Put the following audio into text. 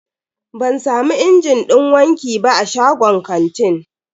Ban samu injin din wanki ba a shagon kantin.